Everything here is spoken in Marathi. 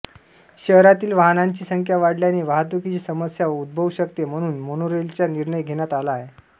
शहरातील वाहनांची संख्या वाढल्याने वाहतुकीची समस्या उद्भवू शकते म्हणून मोनोरेलचा निर्णय घेण्यात आला आहे